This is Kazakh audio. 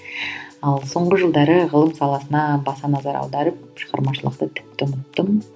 ал соңғы жылдары ғылым саласына баса назар аударып шығармашылықты тіпті ұмыттым